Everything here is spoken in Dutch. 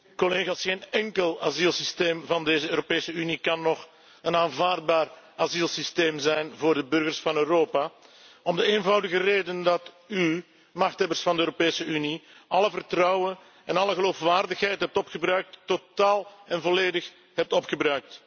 Geen enkel asielsysteem van deze Europese Unie kan nog een aanvaardbaar asielsysteem zijn voor de burgers van Europa om de eenvoudige reden dat u, machthebbers van de Europese Unie, alle vertrouwen en alle geloofwaardigheid totaal en volledig hebt opgebruikt.